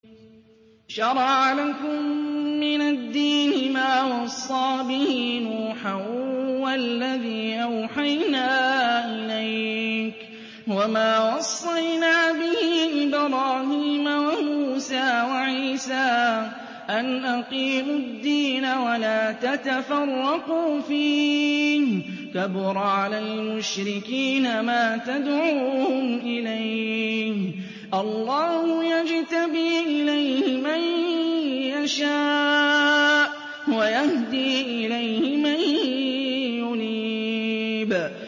۞ شَرَعَ لَكُم مِّنَ الدِّينِ مَا وَصَّىٰ بِهِ نُوحًا وَالَّذِي أَوْحَيْنَا إِلَيْكَ وَمَا وَصَّيْنَا بِهِ إِبْرَاهِيمَ وَمُوسَىٰ وَعِيسَىٰ ۖ أَنْ أَقِيمُوا الدِّينَ وَلَا تَتَفَرَّقُوا فِيهِ ۚ كَبُرَ عَلَى الْمُشْرِكِينَ مَا تَدْعُوهُمْ إِلَيْهِ ۚ اللَّهُ يَجْتَبِي إِلَيْهِ مَن يَشَاءُ وَيَهْدِي إِلَيْهِ مَن يُنِيبُ